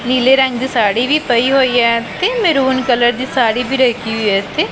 ਨੀਲੇ ਰੰਗ ਦੀ ਸਾੜੀ ਵੀ ਪਈ ਹੋਈ ਆ ਤੇ ਮਹਿਰੂਨ ਕਲਰ ਦੀ ਸਾੜੀ ਵੀ ਰੱਖੀ ਹੋਇਆ ਇਥੇ।